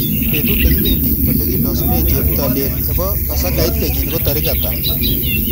Betut negipendi olegilosunen cheptailel nebo basakait kenyini ko tarik ata